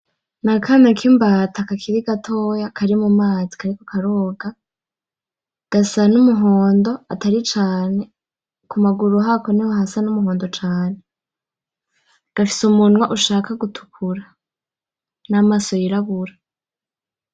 N'akana k'imbata kakiri gatoya kari mu mazi kariko karoga, gasa n'umuhondo atari cane ku maguru hako niho hasa n'umuhondo cane, gafise umunwa ushaka gutukura, n'amaso yirabura.